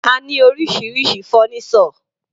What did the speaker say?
A ní oríṣiríṣi fọ́nísọ̀.